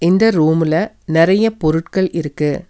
இந்த ரூம்ல நெறைய பொருட்கள் இருக்கு.